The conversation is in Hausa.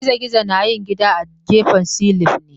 Girgizo na yin gida a gefen silin ne.